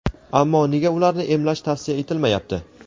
ammo nega ularni emlash tavsiya etilmayapti?.